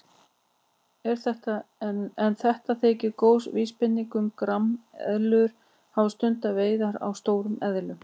En þetta þykir góð vísbending um að grameðlur hafi stundað veiðar á stórum eðlum.